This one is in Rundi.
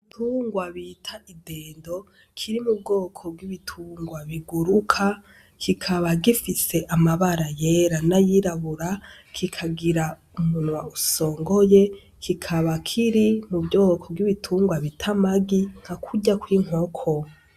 Igitungwa bita idendo kiri mu bwoko bw’ibitungwa biguruka ,kikaba gifise amabara yera n’ayirabura, kikagira umunwa usongoye kikaba kiri mu bwoko bw’ibitungwa bita amagi nka kurya kw’inkoko.